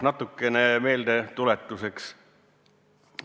Natukene meeldetuletuseks.